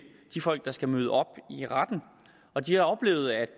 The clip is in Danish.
de folk der skal møde op i retten og de har oplevet at